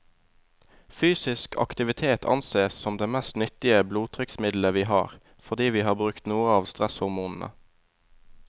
Fysisk aktivitet ansees som det mest nyttige blodtrykksmiddelet vi har, fordi vi får brukt noe av stresshormonene.